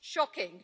Shocking.